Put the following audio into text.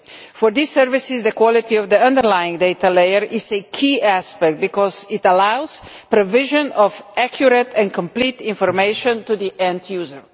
For these services, the quality of the underlying data layer is a key aspect because it allows the provision of accurate and complete information to the end user.